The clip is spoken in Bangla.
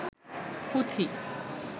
পুথি